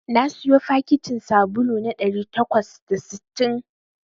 Na siyo fakitin sabulu na ɗari takwas da sittin